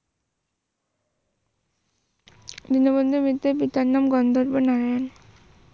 দীনবন্ধু মিত্রের পিতার নাম গন্ধর্ব নারায়ন।